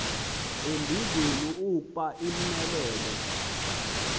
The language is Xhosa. embizweni ukuba imxelele